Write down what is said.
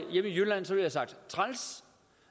træls